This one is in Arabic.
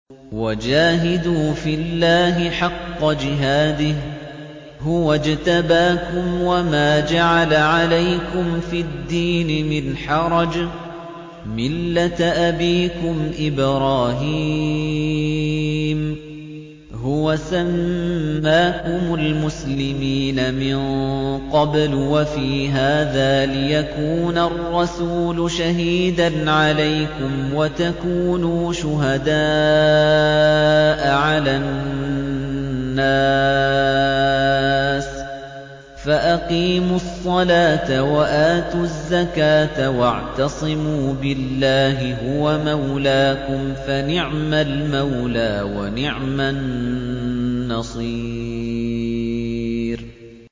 وَجَاهِدُوا فِي اللَّهِ حَقَّ جِهَادِهِ ۚ هُوَ اجْتَبَاكُمْ وَمَا جَعَلَ عَلَيْكُمْ فِي الدِّينِ مِنْ حَرَجٍ ۚ مِّلَّةَ أَبِيكُمْ إِبْرَاهِيمَ ۚ هُوَ سَمَّاكُمُ الْمُسْلِمِينَ مِن قَبْلُ وَفِي هَٰذَا لِيَكُونَ الرَّسُولُ شَهِيدًا عَلَيْكُمْ وَتَكُونُوا شُهَدَاءَ عَلَى النَّاسِ ۚ فَأَقِيمُوا الصَّلَاةَ وَآتُوا الزَّكَاةَ وَاعْتَصِمُوا بِاللَّهِ هُوَ مَوْلَاكُمْ ۖ فَنِعْمَ الْمَوْلَىٰ وَنِعْمَ النَّصِيرُ